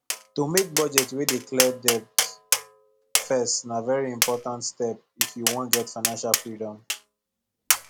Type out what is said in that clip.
to make budget wey dey clear debt first na very important step if you wan get financial freedom